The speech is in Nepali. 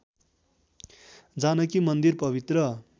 जानकी मन्दिर पवित्र